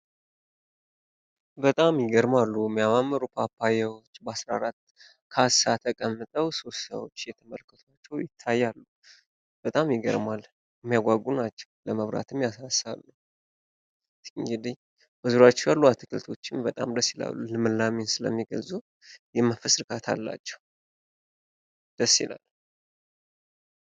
በጣም ይገርማሉ የሚያማምሩ ፓፓያዎች በ14 ካሳዎች ተቀምጠው ሶስት ሰዎች እየተመለከቷቸው ይታያሉ። በጣም ይገርማል እሚያጓጉ ናቸው። ለመብላት የሚያሳሱ በዙሪያቸው ያሉ አትክልቶችም በጣም ደስ ይላሉ ልምላሜን ስለሚገልፁ የመንፈስ እርካታ አላቸው። ደስ ይላል።